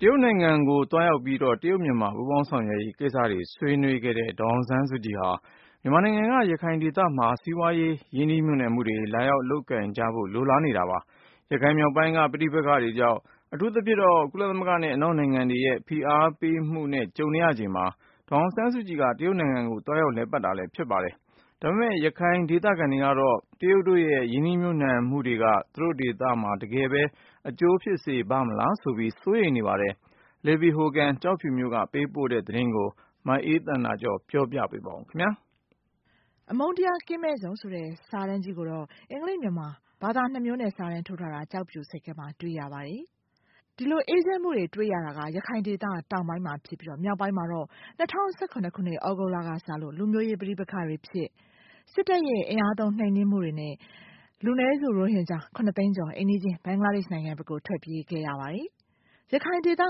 တရုတ်နိုင်ငံဆီ သွားရောက်ပြီး တရုတ်-မြန်မာ ပူးပေါင်းဆောင်ရွက်ရေး ကိစ္စတွေ ဆွေးနွေးခဲ့တဲ့ ဒေါ်အောင်ဆန်းစုကြည်ဟာ မြန်မာနိုင်ငံ ရခိုင်ဒေသမှာ စီးပွားရေး ရင်းနှီးမြှုပ်နှံမှုတွေ လာရောက်လုပ်ကိုင်ကြမှာကို ကြိုဆိုတာပါ။ ရခိုင်မြောက်ပိုင်းက လူမျိုးရေးပဋိပက္ခတွေကြောင့် အထူးသဖြင့် ကုလသမဂ္ဂနဲ့ အနောက်နိုင်ငံတွေရဲ့ ဖိအားပေးမှုနဲ့ ကြုံနေရချိန်မှာ ဒေါ်အောင်ဆန်းစုကြည် တရုတ်နိုင်ငံကို သွားရောက်ခဲ့တာလည်း ဖြစ်ပါတယ်။ ဒါပေမဲ့ ရခိုင်ဒေသခံတွေကတော့ တရုတ်တို့ရဲ့ ရင်းနှီးမြှုပ်နှံမှုတွေက သူတို့ဒေသကို တကယ်ပဲ အကျိုးဖြစ်စေပါ့မလားဆိုပြီး စိုးရိမ်းနေကြပါတယ်။ Libby Hogan ကျောက်ဖြူက ပေးပို့တဲ့ သတင်းကို မအေးသန္တာကျော် ပြောပြပေးပါခင်ဗျာ။ အမုန်းတရား ကင်းမဲ့ဇုန်ဆိုတဲ့ စာတန်းကြီးကိုတော့ အင်္ဂလိပ်၊ မြန်မာ ဘာသာ ၂ မျိုးနဲ့ စာတန်းထိုးထားတာ ကျောက်ဖြူဆိပ်ကမ်းမှာ တွေ့ရပါတယ်။ ဒီလိုအေးချမ်းမှုတွေ တွေ့ရတာက ရခိုင်ဒေသ တောင်ပိုင်းမှာ ဖြစ်ပြီးတော့ မြောက်ပိုင်းမှာတော့ ၂၀၁၇၊ သြဂုတ်လကစလို့ လူမျိုးရေးပဋိပက္ခတွေဖြစ် စစ်တပ်ရဲ့ အင်အားသုံး နှိမ်နင်းမှုတွေနဲ့ လူနည်းစု ရိုဟင်ဂျာ ၇ သိန်းကျော် အိမ်နီးချင်း ဘင်္ဂလားဒေ့ရှ်နိုင်ငံဘက်ကို ထွက်ပြေးခဲ့ရပါတယ်။ ရခိုင်ဒေသ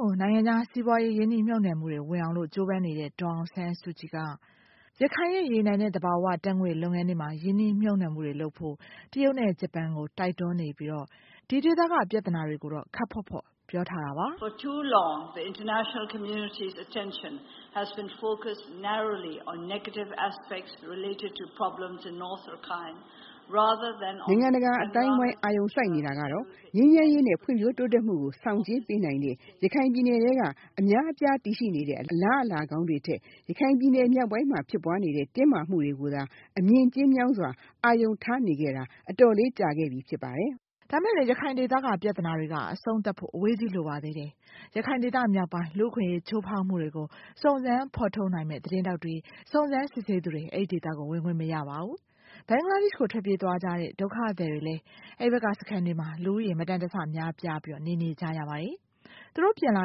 ကို နိုင်ငံခြားစီးပွားရေး ရင်းနှီးမြှုပ်နှံမှုတွေ ဝင်အောင်လို့ ကြိုးပမ်းနေတဲ့ ဒေါ်အောင်ဆန်းစုကြည်က ရခိုင်ရဲ့ ရေနံနဲ့ သဘာဝဓါတ်ငွေ့လုပ်ငန်းတွေမှာ ရင်းနှီးမြှုပ်နှံမှုတွေလုပ်ဖို့ တရုတ်နဲ့ ဂျပန်ကို တိုက်တွန်းနေပြီးတော့ ဒီဒေသက ပြဿနာတွေကို ခပ်ဖေါ့ဖေါ့ပြောထားတာပါ။ "နိုင်ငံတကာအသိုင်းအဝိုင်း အာရုံစိုကနေတာကတော့ ငြိမ်းချမ်းရေးနဲ့ ဖွံ့ဖြိုးတိုးတက်မှုကို ဆောင်ကြဉ်းပေးနိုင်တဲ့ ရခိုင်ပြည်နယ်ထဲက အများအပြား တည်ရှိနေတဲ့ အလားအလာကောင်းတွေထက် ရခိုင်ပြည်နယ် မြောက်ပိုင်းမှာ ဖြစ်ပွားနေတဲ့ တင်းမာမှုတွေကိုသာ အမြင်ကျဉ်းမြောင်းစွား အာရုံထားနေခဲ့တာ အတော်လေးကြာခဲ့ပြီ ဖြစ်ပါတယ်။" ဒါပေမဲ့လည်း ရခိုင်ဒေသက ပြဿနာတွေက အဆုံးသတ်ဖို့ အဝေးကြီးလိုပါသေးတယ်။ ရခိုင်ဒေသမြောက်ပိုင်း လူ့အခွင့်အရေးချိုးဖောက်မှုတွေကို စုံစမ်းဖော်ထုတ်နိုင်မယ့် သတင်းထောက်တွေ၊ စုံစမ်းစစ်ဆေးသူတွေ အဲ့ဒေသကို ဝင်ခွင့်မရပါဘူး။ ဘင်္ဂလားဒေ့ရှ်ကို ထွက်ပြေးသွားကြတဲ့ ဒုက္ခသည်တွေလည်း အဲ့ဘက်က စခန်းတွေမှာ လူဦးရေ မတန်တဆ များပြားပြီးတော့ နေနေကြရပါတယ်။ သူတို့ ပြန်လာ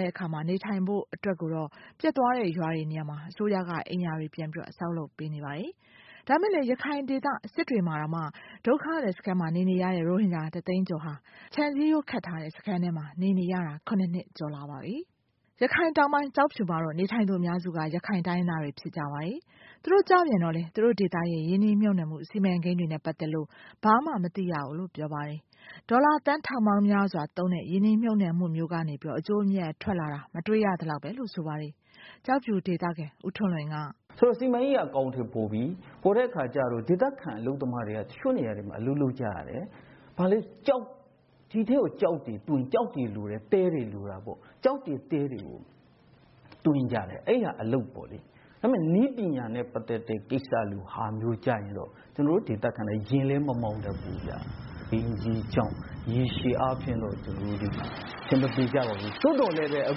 တဲ့အခါမှာ နေထိုင်ဖို့အတွက်ကိုတော့ ပျက်သွားတဲ့နေရာတွေမှာ အစိုးရက အိမ်ယာတွေ ပြန်ပြီးတော့ ဆောက်လုပ်ပေးနေပါတယ်။ ဒါပေမဲ့လည်း ရခိုင်ဒေသ စစ်တွေမှာတော့ ဒုက္ခသည်စခန်းမှာ နေနေကြတဲ့ ရိုဟင်ဂျာ ၁ သိန်းကျော်ဟာ ခြံစည်းရိုးခတ်ထားတဲ့ စခန်းထဲမှာ နေနေရတာ ၇ နှစ်ကျော်လာပါပြီ။ ရခိုင်မြောက်ပိုင်း ကျောက်ဖြူမှာတော့ နေထိုင်သူ အများစုက ရခိုင်တိုင်းရင်းသားတွေ ဖြစ်ကြပါတယ်။ သူတို့ကျပြန်တော့လည်း သူတို့ဒေသရဲ့ ရင်းနှီးမြှုပ်နှံမှု စီမံကိန်းတွေနဲ့ ပတ်သက်လို့ ဘာမှမသိရဘူးလို့ ပြောပါတယ်။ ဒေါ်လာ သန်းထောင်ပေါင်းများစွာ သုံးတဲ့ ရင်းနှီးမြှုပ်နှံမှုမျိုးကနေပြီးတော့ အကျိုးအမြတ်ထွက်လာတာ မတွေ့ရသလောက်ပဲလို့ ဆိုပါတယ်။ ကျောက်ဖြူဒေသခံ ဦးထွန်းလွင်က "စီမံကိန်းက အကောင်အထည်ဖော်ပြီ။ ဖော်တဲ့အခါကျတော့ ဒေသခံအလုပ်သမားတွေ တချို့နေရာတွေမှာ အလုပ်လုပ်ကြရတယ်။ ဒီထဲကို ကျောက်တွေလိုတယ်၊ သဲတွေလိုတာပေါ့။ ကျောက်တွေသဲတွေကို တွင်းကြတယ်။ အဲ့ဟာအလုပ်ပေါ့လေ။ ဒါပေမဲ့ နည်းပညာနဲ့ ပတ်သက်တဲ့ ကိစ္စလိုဟာမျိုးကျရင်တော့ ကျနော်တို့ဒေသခံတွေက ယာဉ်လည်းမမောင်းတတ်ဘူးဗျ။ ရေရှည်အားဖြင့်တော့ ကျနော်တို့တွေဟာ အဆင်မပြေကြပါဘူး။ သို့သော်လည်းပဲ အ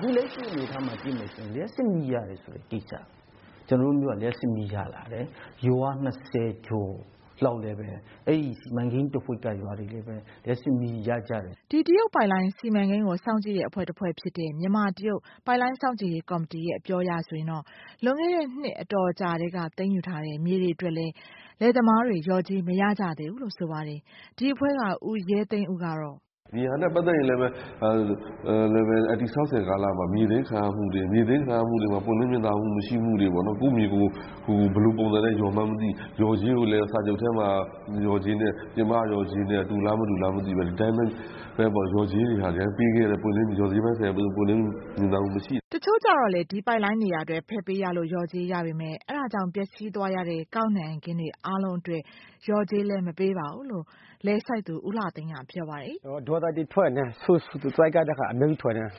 ခု လက်ရှိအနေအထားမှာ ကြည့်မယ်ဆိုရင် လျှပ်စစ်မီးရတယ်ဆိုတဲ့ ကိစ္စ ကျနော်တို့မြို့က လျှပ်စစ်မီးရလာတယ်။ ရွာ ၂၀ ကျော်လောက်လည်းပဲ အဲ့ဒီစီမံကိန်းတဝှိက်က ရွာတွေလည်းပဲ လျှပ်စစ်မီးရကြတယ်။" ဒီတရုတ်ပိုက်လိုင်း စီမံကိန်းကို စောင့်ကြည့်တဲ့ အဖွဲ့တဖွဲ့ဖြစ်တဲ့ မြန်မာ-တရုတ် ပိုက်လိုင်းစောင့်ကြည့်ရေးကော်မတီရဲ့ အပြောအရဆိုရင် လွန်ခဲ့တဲ့ နှစ်အတော်အကြာထဲက သိမ်းယူထားတဲ့ မြေတွေအတွက်လည်း လယ်သမားတွေ လျော်ကြေးမရကြသေးဘူးလို့ ဆိုပါတယ်။ ဒီအဖွဲ့က ဦးရဲသိန်းဦးကတော့ "ဒါနဲ့ ပတ်သက်ရင်လည်းပဲ တည်ဆောက်စဉ်ကာလမှာ မြေသိမ်းခံရမှုတွေ၊ မြေသိမ်းခံရမှုတွေမှာ ပွင့်လင်းမြင်သာမှုမရှိမှုတွေ ကိုယ့်မြေကို ဘယ်လိုပုံစံနဲ့ လျော်မှန်းမသိ၊ လျော်ကြေးကိုလည်းစာချုပ်ထဲမှာ လျော်ကြေးနဲ့ ပြင်ပက လျော်ကြေးနဲ့ တူလားမတူလား မသိဘဲနဲ့ ဒီတိုင်းပဲ လျော်ကြေးတွေပေးခဲ့တဲ့ လျာ်ကြေးပိုင်းဆိုင်ရာ ပွင့်လင်းမြင်သာမှုမရှိဘူး။" တချို့ကြတော့လည်း ဒီပိုင်းလိုင်းနေရာအတွက် ဖယ်ပေးရလို့ လျော်ကြေးရပေမဲ့ အဲ့ဒါကြောင့် ပျက်စီးသွားရတဲ့ ကောက်နှံခင်းတွေ အားလုံးအတွက် လျော်ကြေးလည်း မပေးပါဘူးလို့ လယ်စိုက်သူ ဦးလှသိန်းက ပြောပါတယ်။ "သူတို့လယ်သမားတွေ ဒေါသတွေထွက်နေကြတယ်။ အခုဆိုရင် ရွှံ့တွေနဲ့ သူတို့ ဘာပင်မှလည်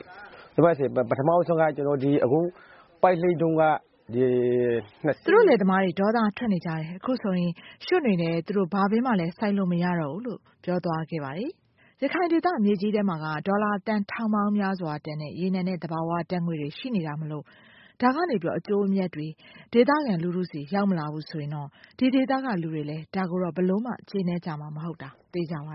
းစိုက်လို့မရတော့ဘူးလို့ ပြောသွားခဲ့ပါတယ်။" ရခိုင်ဒေသမြေကြီးထဲမှာက ဒေါ်လာသန်းထောင်ပေါင်းများစွာတန်တဲ့ ရေနံနဲ့ သဘာဝဓါတ်ငွေ့တွေရှိနေတာမို့လို့ ဒါကနေပြီးတော့ အကျိုးအမြတ်တွေ ဒေသခံလူထုဆီ ရောက်မလာဘူးဆိုရင်တော့ ဒီဒေသကလူတွေလည်း ဒါကိုတော့ ဘယ်လိုမှ ကျေနပ်ကြမှာ မဟုတ်တာ သေချာပါ